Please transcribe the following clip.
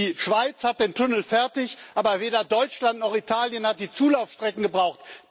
Die Schweiz hat den Tunnel fertig, aber weder Deutschland noch Italien hat die Zulaufstrecken gebaut.